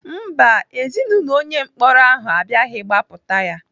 Mba, Ezinaụlọ onye mkpọrọ ahụ abịaghị gbapụta ya.